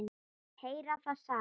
Heyra það sama.